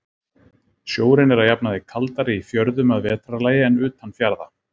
Sjórinn er að jafnaði kaldari í fjörðum að vetrarlagi en utan fjarða.